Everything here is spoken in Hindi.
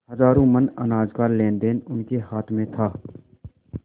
हजारों मन अनाज का लेनदेन उनके हाथ में था